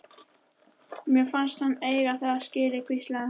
Mér fannst hann eiga þetta skilið- hvíslaði hún.